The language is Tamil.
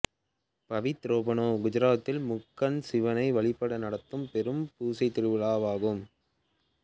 பவித்ரோபனா குஜராத்தில் முக்கண்ன்ன் சிவனை வழிபட நட்த்தும் பெரும் பூசைத் திருவிழா ஆகும்